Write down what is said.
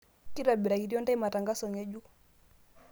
kitobirakitio ndae matangazo ngejuk